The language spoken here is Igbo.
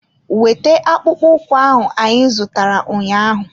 Wete akpụkpọ ụkwụ ahụ anyị zụtara ụnyaahụ!